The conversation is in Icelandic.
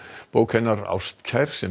bók hennar ástkær sem